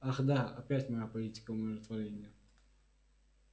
ах да опять моя политика умиротворения